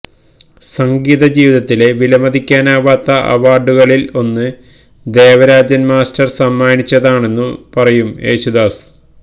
സംഗീതജീവിതത്തിലെ വിലമതിക്കാനാവാത്ത അവാര്ഡുകളില് ഒന്ന് ദേവരാജന് മാസ്റ്റര് സമ്മാനിച്ചതാണെന്നു പറയും യേശുദാസ്